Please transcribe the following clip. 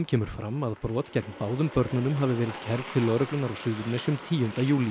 kemur fram að brot gegn báðum börnunum hafi verið kærð til lögreglunnar á Suðurnesjum tíunda júlí